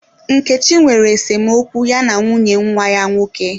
Nkechi nwere esemokwu ya na nwunye nwa ya nwoke.